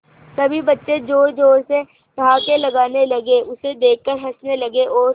सभी बच्चे जोर जोर से ठहाके लगाने लगे उसे देख कर हंसने लगे और